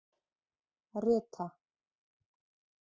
Rita